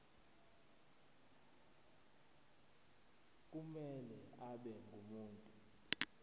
kumele abe ngumuntu